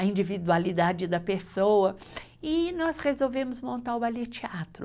a individualidade da pessoa, e nós resolvemos montar o Ballet Teatro.